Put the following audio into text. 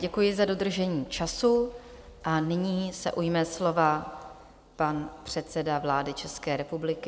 Děkuji za dodržení času a nyní se ujme slova pan předseda vlády České republiky.